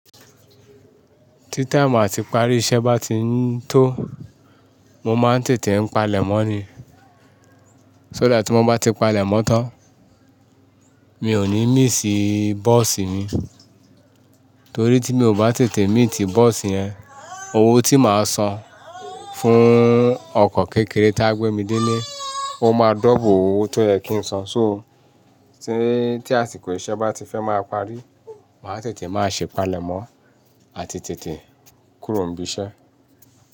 Tí táìmu atí ìparí iṣẹ́ bá ti ń tó, mo máa ń tètè ń palẹ̀mọ́ ni. Só dà tí mo bá ti palẹ̀mọ́ tán, mi ò ní mí sí bọ́ọ̀sì mi, torí tí mi ò bá tètè meeti bọ́ọ̀sì yẹn, owó tí màá san fún ọkọ̀ kékeré tí á gbé mi dé ilé, ó máa dọ́uble owó tó yẹ kí n san. So tí àsìkò iṣẹ́ bá ti fẹ́ máa parí, màá tètè máa ṣe palẹ̀mọ́ àti tètè kúrò nibi iṣẹ́.